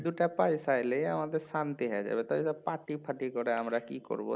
দুটা পয়সা এলেই আমাদের শান্তি হয়ে যাবে তা ওইসব পার্টি ফার্টি করে আমরা কি করবো